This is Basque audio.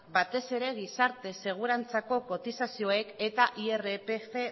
batez ere gizarte segurantzako kotizazioek eta irpf